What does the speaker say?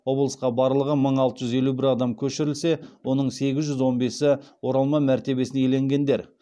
облысқа барлығы мың алты жүз елу бір адам көшірілсе оның сегіз жүз он бесі оралман мәртебесін иеленгендер